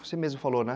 Você mesmo falou, né?